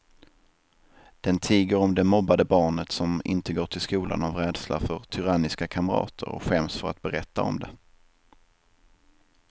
Den tiger om det mobbade barnet som inte går till skolan av rädsla för tyranniska kamrater och skäms för att berätta om det.